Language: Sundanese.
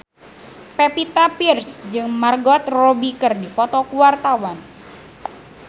Pevita Pearce jeung Margot Robbie keur dipoto ku wartawan